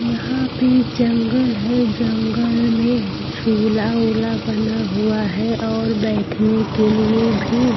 यहां पे जंगल है जंगल में झूला वूला बना हुआ है और बैठने के लिए भी --